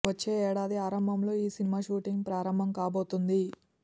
వచ్చే ఏడాది ఆరంభంలో ఈ సినిమా షూటింగ్ ప్రారంభం కాబోతోంది